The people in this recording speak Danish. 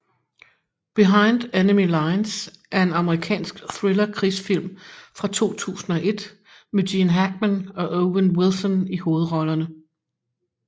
Behind Enemy Lines er en amerikansk thriller krigsfilm fra 2001 med Gene Hackman og Owen Wilson i hovedrollerne